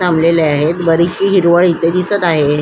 थांबलेली आहेत बरिचशी हिरवळ इथे दिसत आहे.